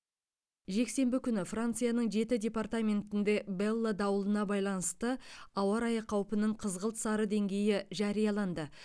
жексенбі күні францияның жеті департаментінде белла дауылына байланысты ауа райы қаупінің қызғылт сары деңгейі жарияланды